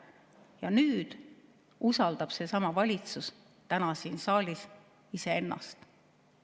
Ja nüüd usaldab seesama valitsus täna siin saalis iseennast.